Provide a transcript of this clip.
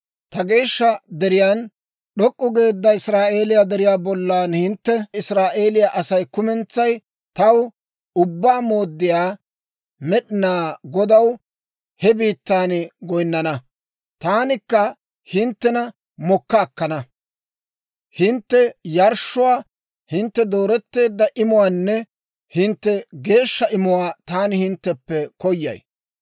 Ta geeshsha deriyaan, d'ok'k'u geedda Israa'eeliyaa deriyaa bollan hintte Israa'eeliyaa Asay kumentsay taw, Ubbaa Mooddiyaa Med'inaa Godaw he biittan goyinnana. Taanikka hinttena mokka akkana; hintte yarshshuwaa, hintte dooreteedda imuwaanne hintte geeshsha imuwaa taani hintteppe koyay.